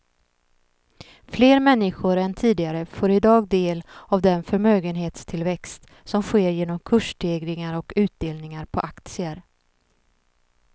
Fler människor än tidigare får i dag del av den förmögenhetstillväxt som sker genom kursstegringar och utdelningar på aktier.